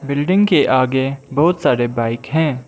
Building के आगे बहुत सारे बाइक हैं।